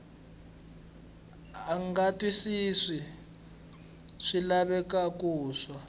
a nga twisisi swilaveko swa